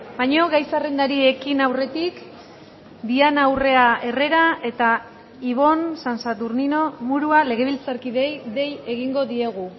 baina gai zerrendari ekin aurretik diana urrea herrera eta ibon san saturnino murua legebiltzarkideei dei egingo diegu